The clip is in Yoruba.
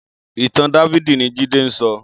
Itàn Dàfidi ni Jide n sò